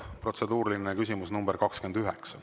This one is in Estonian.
Protseduuriline küsimus nr 29.